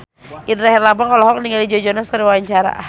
Indra Herlambang olohok ningali Joe Jonas keur diwawancara